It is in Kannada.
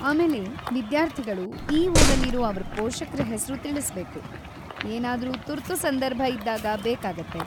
ಆಮೇಲೆ, ವಿದ್ಯಾರ್ಥಿಗಳು ಈ ಊರಲ್ಲಿರೂ ಅವ್ರ ಪೋಷಕ್ರ ಹೆಸ್ರು ತಿಳಿಸ್ಬೇಕು, ಏನಾದ್ರೂ ತುರ್ತು ಸಂದರ್ಭ ಇದ್ದಾಗ ಬೇಕಾಗತ್ತೆ.